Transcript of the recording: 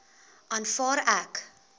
aanvaar ek